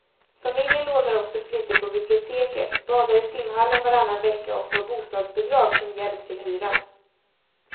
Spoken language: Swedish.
Familjen lånar också flitigt på biblioteket, badar i simhallen varannan vecka och får bostadsbidrag som hjälp till hyran.